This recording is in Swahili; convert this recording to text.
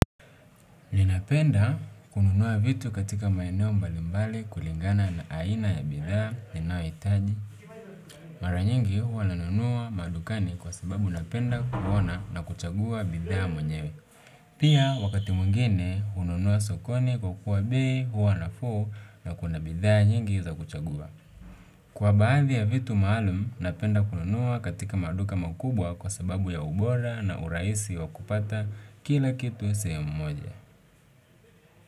Ninapenda kununua vitu katika maeneo mbalimbali kulingana na aina ya bidhaa ninayohitaji mara nyingi huwa nanunua madukani kwa sababu napenda kuona na kuchagua bidhaa mwenyewe. Pia wakati mwingine hununua sokoni kwa kuwa bei huwa nafuu na kuna bidhaa nyingi za kuchagua. Kwa baadhi ya vitu maalum, napenda kununua katika maduka makubwa kwa sababu ya ubora na urahisi wa kupata kila kitu sehemu mmoja.